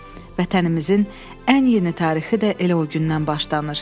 Vətənimizin ən yeni tarixi də elə o gündən başlanır.